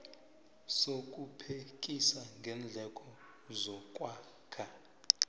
sokuphekisa ngeendleko zokwakha